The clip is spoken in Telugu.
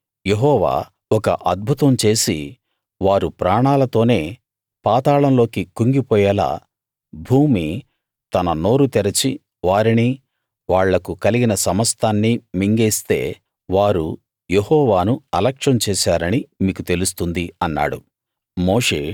కాని యెహోవా ఒక అద్భుతం చేసి వారు ప్రాణాలతోనే పాతాళంలోకి కుంగిపోయేలా భూమి తన నోరు తెరచి వారిని వాళ్లకు కలిగిన సమస్తాన్నీ మింగేస్తే వారు యెహోవాను అలక్ష్యం చేశారని మీకు తెలుస్తుంది అన్నాడు